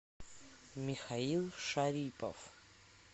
михаил шарипов